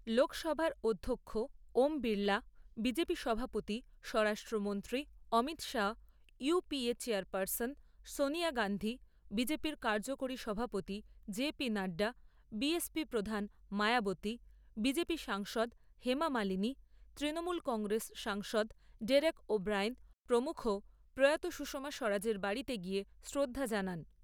লোকসভার অধ্যক্ষ ওম বিড়লা, বিজেপি সভাপতি স্বরাষ্ট্রমন্ত্রী Amit Shah, UPA chairperson Sonia Gandhi, বিজেপি'র কার্যকরী সভাপতি জেপি নাড্ডা, বিএসপি প্রধান মায়াবতী, বিজেপি সাংসদ হেমা মালিনী, তৃণমূল কংগ্রেস সাংসদ ডেরেক ও'ব্রায়েন প্রমুখ প্রয়াত সুষমা স্বরাজের বাড়িতে গিয়ে শ্রদ্ধা জানান।